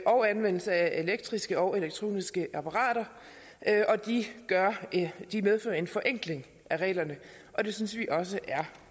og anvendelse af elektriske og elektroniske apparater det medfører en forenkling af reglerne og det synes vi også er